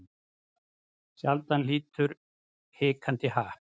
Sjaldan hlýtur hikandi happ.